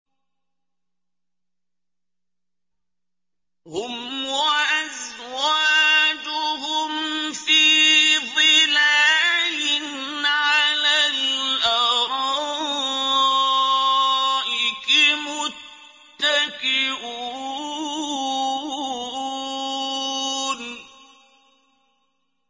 هُمْ وَأَزْوَاجُهُمْ فِي ظِلَالٍ عَلَى الْأَرَائِكِ مُتَّكِئُونَ